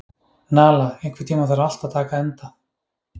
Nala, einhvern tímann þarf allt að taka enda.